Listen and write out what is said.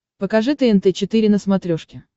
покажи тнт четыре на смотрешке